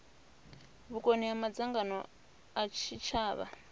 vhukoni ha madzangano a tshitshavha